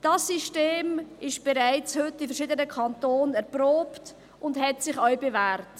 Dieses System ist bereits heute in verschiedenen Kantonen erprobt und hat sich bewährt.